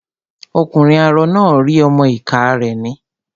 Ọkùnrin arọ náà rí ọmọ-ìká rẹ̀ nà